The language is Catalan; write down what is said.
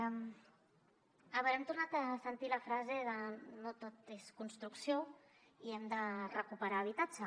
a veure hem tornat a sentir la frase de no tot és construcció i hem de recuperar habitatge